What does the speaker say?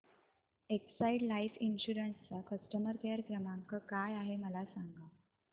Exide life insurance चा customer care क्रमांक काय आहे मला सांगा